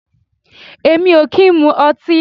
Èmi o ki n mu ọti